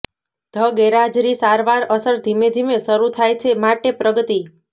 the ગેરહાજરી સારવાર અસર ધીમે ધીમે શરૂ થાય છે માટે પ્રગતિ